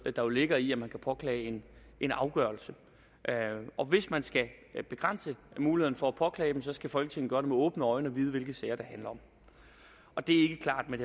der jo ligger i at man kan påklage en afgørelse og hvis man skal begrænse muligheden for at påklage dem skal folketinget gøre det med åbne øjne og vide hvilke sager det handler om og det er ikke klart med